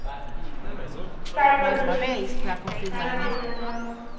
Sai Pallavi Naga Chaitanya